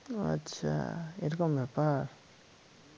আচ্ছা এ রকম ব্যাপার